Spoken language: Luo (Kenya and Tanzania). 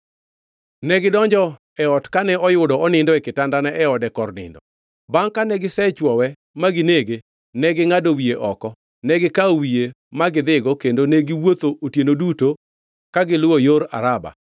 Negidonjo e ot kane oyudo onindo e kitandane e ode kor nindo. Bangʼ kane gisechwowe ma ginege, negingʼado wiye oko. Negikawo wiye ma gidhigo kendo negiwuotho otieno duto ka giluwo yor Araba.